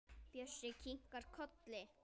Bjössi kinkar kolli.